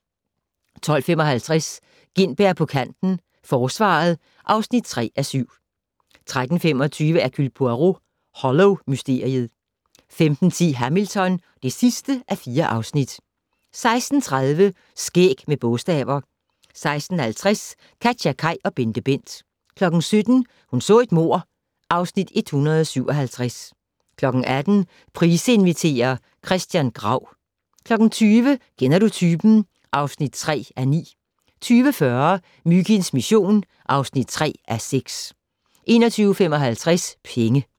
12:55: Gintberg på kanten - Forsvaret (3:7) 13:25: Hercule Poirot: Hollow-mysteriet 15:10: Hamilton (4:4) 16:30: Skæg med bogstaver 16:50: KatjaKaj og BenteBent 17:00: Hun så et mord (Afs. 157) 18:00: Price inviterer - Christian Grau 20:00: Kender du typen? (3:9) 20:40: Myginds mission (3:6) 21:55: Penge